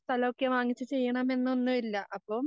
സ്ഥലോക്കെ വാങ്ങിച്ച് ചെയ്യണമൊന്നെന്നും ഇല്ല അപ്പം